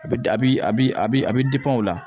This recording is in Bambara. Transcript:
A bi a bi a bi a bi a be o la